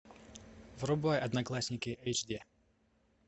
врубай одноклассники эйч ди